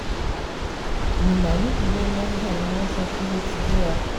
minna nípínlẹ̀ niger ni wọ́n sọ pé ó ti ti gbéra